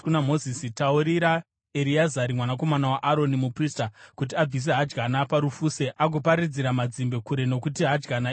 “Taurira Ereazari mwanakomana waAroni, muprista, kuti abvise hadyana parufuse agoparadzira mazimbe kure nokuti hadyana itsvene,